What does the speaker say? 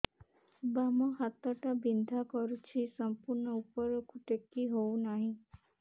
ବାମ ହାତ ଟା ବିନ୍ଧା କରୁଛି ସମ୍ପୂର୍ଣ ଉପରକୁ ଟେକି ହୋଉନାହିଁ